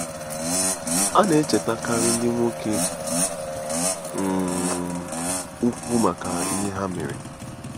A na-echetakarị ndị nwoke um ukwu maka ihe ha mere.